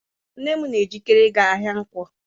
Nne m na-ejikere ịga ahịa Nkwọ.